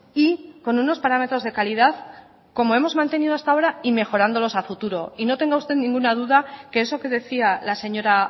y con unos parámetros de calidad como hemos mantenido hasta ahora y mejorándolos a futuro y no tenga usted ninguna duda que eso que decía la señora